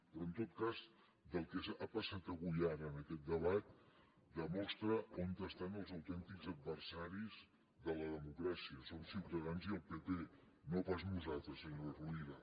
però en tot cas el que ha passat avui ara en aquest debat demostra on estan els autèntics adversaris de la democràcia són ciutadans i el pp no pas nosaltres senyora rovira